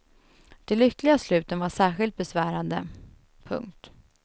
De lyckliga sluten var särskilt besvärande. punkt